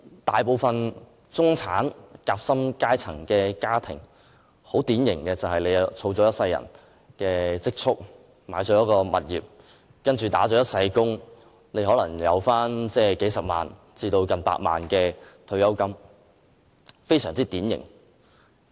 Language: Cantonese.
大部分典型的中產、"夾心階層"家庭，用一生人的積蓄，購置一間物業，然後"打一世工"，可能有數十萬至近百萬元的退休金，這是非常典型的。